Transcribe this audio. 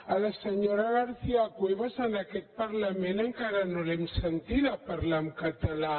a la senyora garcia cuevas en aquest parlament encara no l’hem sentida parlar en català